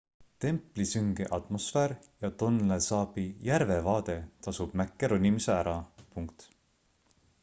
templi sünge atmosfäär ja tônlé sabi järvevaade tasub mäkke ronimise ära